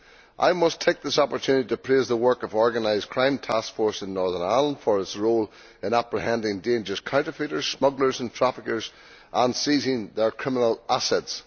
I must take this opportunity to praise the work of the Organised Crime Task Force in Northern Ireland for its role in apprehending dangerous counterfeiters, smugglers and traffickers and seizing their criminal assets.